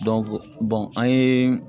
an ye